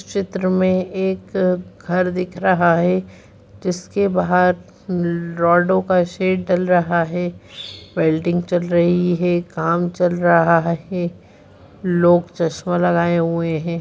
चित्र में एक घर दिख रहा है जिसके बाहर रॉड़ो का शेड डल रहा है वेल्डिंग चल रही है काम चल रहा है लोग चश्मा लगाए हुए है।